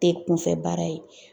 Te kunfɛ baara ye.